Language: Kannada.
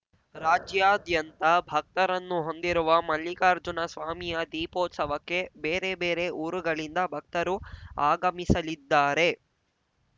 ರಾಜ್ಯಾದ್ಯಂತ ಭಕ್ತರನ್ನು ಹೊಂದಿರುವ ಮಲ್ಲಿಕಾರ್ಜುನ ಸ್ವಾಮಿಯ ದೀಪೋತ್ಸವಕ್ಕೆ ಬೇರೆ ಬೇರೆ ಊರುಗಳಿಂದ ಭಕ್ತರು ಆಗಮಿಸಲಿದ್ದಾರೆ